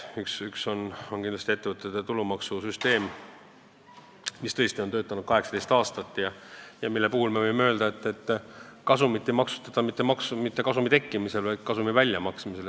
Üks teema on kindlasti ettevõtete tulumaksu süsteem, mis tõesti on töötanud 18 aastat ja mille puhul me võime öelda, et kasumit ei maksustata mitte selle tekkimisel, vaid väljamaksmisel.